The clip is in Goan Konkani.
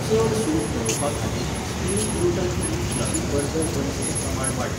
चड सूट मेळोवपा खातीर spring gluten free fluffy burger बन्सचें प्रमाण वाडय